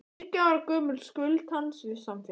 Þriggja ára gömul skuld hans við samfélagið.